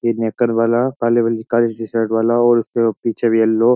ये नेकर वाला काली वाली काली टीशर्ट वाला और उसके पीछे भी येलो --